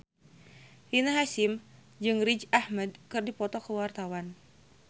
Rina Hasyim jeung Riz Ahmed keur dipoto ku wartawan